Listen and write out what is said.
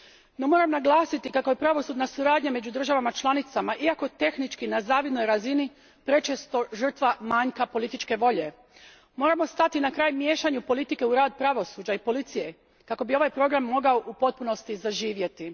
No, moram naglasiti kako je pravosudna suradnja među državama članicama, iako tehnički na zavidnoj razini, prečesto žrtva manjka političke volje. Moramo stati na kraj miješanju politike u rad pravosuđa i policije, kako bi ovaj program mogao u potpunosti zaživjeti.